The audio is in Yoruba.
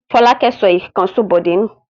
Fọlákẹ́ sọ ìkànṣó Bọ̀dé nù?